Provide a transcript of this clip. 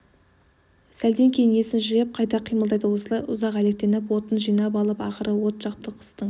сәлден кейін есін жиып қайта қимылдайды осылай ұзақ әлектеніп отын жинап алып ақыры от жақты қыстың